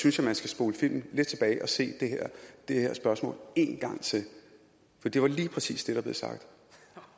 synes jeg man skal spole filmen lidt tilbage og se det her spørgsmål en gang til for det var lige præcis det der blev sagt